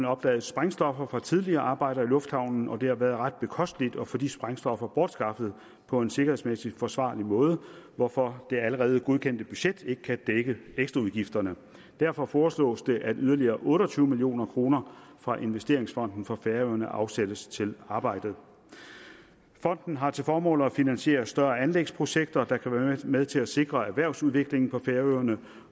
opdaget sprængstoffer fra tidligere arbejder i lufthavnen det har været ret bekosteligt at få disse sprængstoffer bortskaffet på en sikkerhedsmæssig forsvarlig måde hvorfor det allerede godkendte budget ikke kan dække ekstraudgifterne derfor foreslås det at yderligere otte og tyve million kroner fra investeringsfonden for færøerne afsættes til arbejdet fonden har til formål at finansiere større anlægsprojekter der kan være med til at sikre erhvervsudviklingen på færøerne